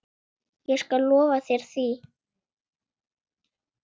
Ég skal lofa þér því.